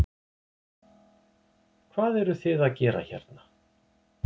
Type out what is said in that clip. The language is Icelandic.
Hvað eru þið að gera hérna?